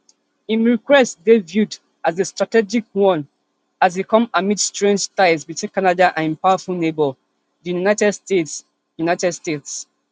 im request dey viewed as a strategic one as e come amid strained ties between canada and im powerful neighbour di united states united states